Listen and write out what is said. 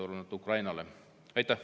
Aitäh!